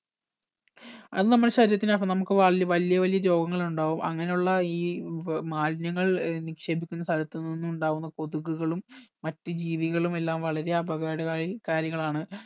അത് നമ്മളെ ശരീരത്തിനകത്ത് നമുക്ക് വല്യ വലിയ രോഗങ്ങൾ ഉണ്ടാകും അങ്ങന ഉള്ള ഈ ഏർ മാലിന്യങ്ങൾ ഏർ നിക്ഷേപിക്കുന്ന സ്ഥലത്ത് നിന്നുണ്ടാകുന്ന കൊതുകുകളും മറ്റ് ജീവികളും എല്ലാം വളരെ അപകട കാരി കാരികളാണ്